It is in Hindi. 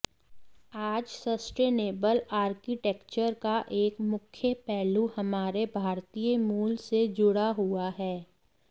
आज सस्टेनेबल आर्किटेक्चर का एक मुख्य पहलू हमारे भारतीय मूल से जुड़ा हुआ है